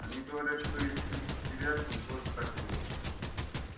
они говорят что и в тридцать девятом тоже так было